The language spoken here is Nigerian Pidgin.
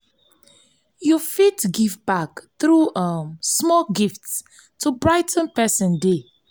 yu fit give back thru um small gifts to brigh ten pesin day.